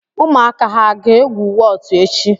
Ụmụaka ha ga-egwu wọtu echi?